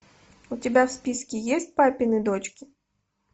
у тебя в списке есть папины дочки